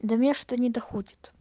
до меня что-то не доходит